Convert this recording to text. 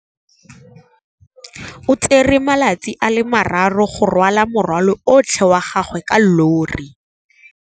O tsere malatsi a le marraro go rwala morwalo otlhe wa gagwe ka llori.